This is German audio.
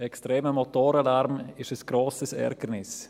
Extremer Motorenlärm ist ein grosses Ärgernis.